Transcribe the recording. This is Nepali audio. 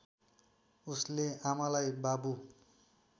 उसले आमालाई बाबु